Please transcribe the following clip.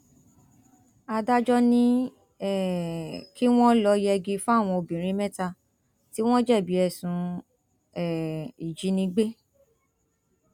adájọ ni um kí wọn lọọ yẹgi fáwọn obìnrin mẹta tí wọn jẹbi ẹsùn um ìjínigbé